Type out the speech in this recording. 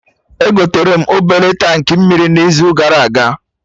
Egoterem obele tankị mmiri n'izu gara aga